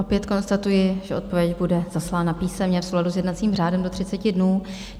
Opět konstatuji, že odpověď bude zaslána písemně v souladu s jednacím řádem do 30 dnů.